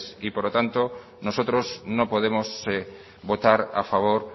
por lo tanto nosotros no podemos votar a favor